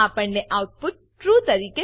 આપણને output true